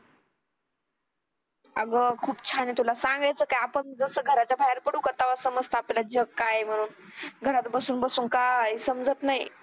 अगं खूप छान आहे तुला सांगायचं काय आपण जसं घराच्या बाहेर पडू का तेव्हा समजतं आपल्याला जग काय म्हणून घरात बसून बसून काय समजत नाही.